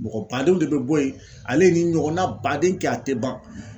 Mɔgɔ badenw de be bɔ yen. Ale ye nin ɲɔgɔnna baden kɛ a te ban.